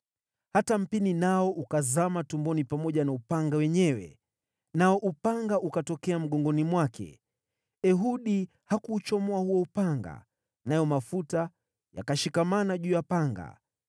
Hata mpini nao ukazama tumboni pamoja na upanga wenyewe, nao upanga ukatokea mgongoni mwake. Ehudi hakuuchomoa huo upanga, nayo mafuta yakashikamana juu ya upanga.